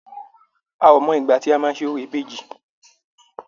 A ò mọ ìgbà tọ́ máa ṣe orò ìbejì.